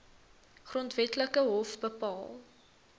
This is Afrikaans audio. grondwetlike hof bepaal